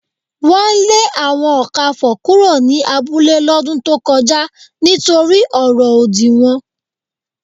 Wọn lè àwọn Ọ̀kàfọ̀ kúrò ní abúlẹ̀ lódún tó kọja nítorí ọ̀rọ̀ ódì wọn